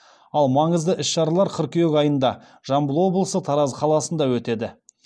ал маңызды іс шаралар қыркүйек айында жамбыл облысы тараз қаласында өтеді